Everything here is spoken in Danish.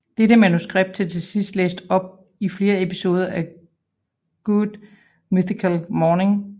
Dette manuskript blev til sidst læst op i flere episoder af Good Mythical Morning